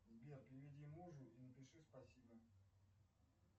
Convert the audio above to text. сбер переведи мужу и напиши спасибо